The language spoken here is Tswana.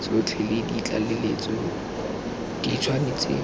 tsotlhe le ditlaleletso di tshwanetse